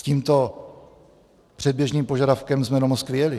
S tímto předběžným požadavkem jsme do Moskvy jeli.